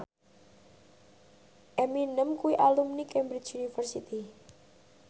Eminem kuwi alumni Cambridge University